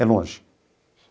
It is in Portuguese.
É longe.